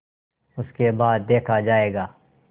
उसके बाद देखा जायगा